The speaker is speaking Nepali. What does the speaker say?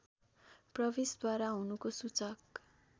प्रवेशद्वार हुनुको सूचक